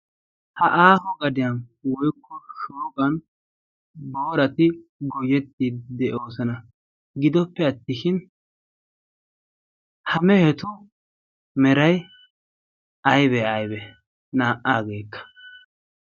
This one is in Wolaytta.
Ha aaho gadiyan woyikko shooqan boorati goyyettiiddi de'oosona. Gidoppe attishin ha mehetu Meray ayibe ayibee naa"aageekka?